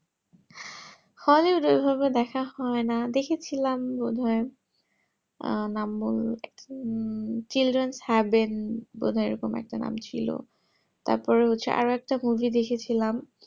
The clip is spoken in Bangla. hollywood এর অভাবে দেখা হয়না দেখেছিলাম বোধহয় আহ নাম বলতে children haven বোধহয় ওরম একটা নাম ছিল তারপরে হচ্ছে আরও একটা movie দেখেছিলাম